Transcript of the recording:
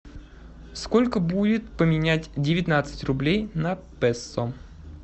сколько будет поменять девятнадцать рублей на песо